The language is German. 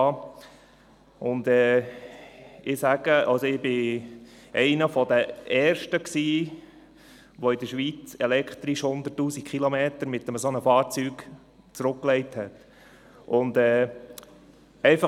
Ich war einer der Ersten, die in der Schweiz 100 000 Kilometer mit einem solchen Fahrzeug zurückgelegt haben.